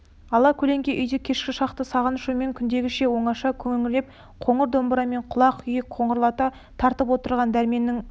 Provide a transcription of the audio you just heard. ала көлеңке үйде кешкі шақта сағыныш ойымен күндегіше оңаша күңіреніп қоңыр домбырамен құлақ күйді қоңырлата тартып отырған дәрменнің бұл